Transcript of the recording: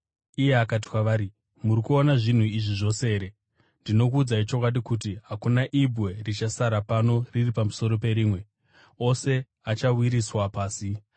Iye akati kwavari, “Muri kuona zvinhu izvi zvose here? Ndinokuudzai chokwadi kuti hakuna ibwe richasara pano riri pamusoro perimwe; ose achawisirwa pasi.”